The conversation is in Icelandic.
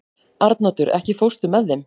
Arnoddur, ekki fórstu með þeim?